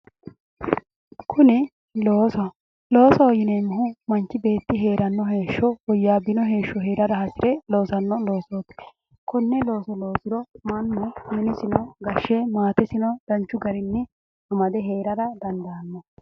kuni loosoho, loosoho yineeemmohu manchi beetti hee'ranno heeshsho woyyaabbino heeshsho hee'rara hasi're loosanno loosootikonne loosoloosiro mannu umosino gashshe maatesino danchu garinni amade hee'rara dandaanno